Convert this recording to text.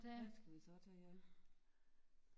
Hvad skal vi så tage ja